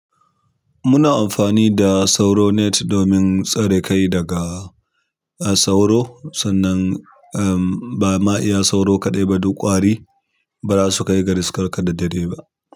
Muna amfani da sauro net domin tsare kai daga sauro sannan, em ba ma iya sauro kaɗai ba duk ƙwari ba za su kai ga riskarka da dare ba.